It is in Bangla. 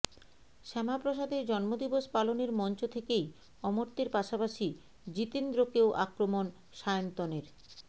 শ্যামাপ্রসাদের জন্মদিবস পালনের মঞ্চ থেকেই অমর্ত্যের পাশাপাশি জিতেন্দ্রকেও আক্রমণ সায়ন্তনের